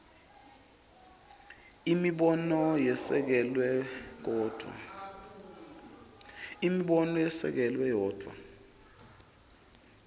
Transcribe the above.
imibono yesekelwe kodvwa